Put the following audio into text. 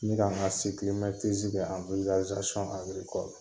N bɛ ka n ka kɛ ani n ka